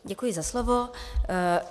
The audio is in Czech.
Děkuji za slovo.